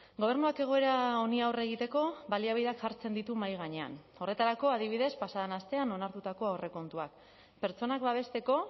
gobernuak egoera honi aurre egiteko baliabideak jartzen ditu mahai gainean horretarako adibidez pasa den astean onartutako aurrekontuak pertsonak babesteko